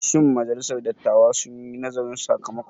Shin majalisar dattawa sun yi nazarin sakamakon?